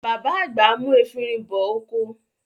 Bàbá àgbà mú efinrin bọ oko.